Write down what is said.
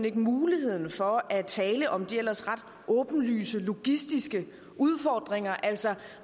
ikke muligheden for at tale om de ellers ret åbenlyse logistiske udfordringer altså